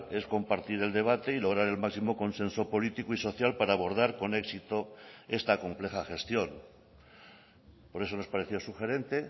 es compartir el debate y lograr el máximo consenso político y social para abordar con éxito esta compleja gestión por eso nos pareció sugerente